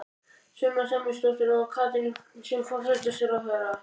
Sunna Sæmundsdóttir: Og Katrín sem forsætisráðherra?